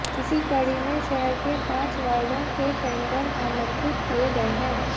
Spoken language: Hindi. इसी कड़ी में शहर के पांच वार्डों के टेंडर आमंत्रित किए गए है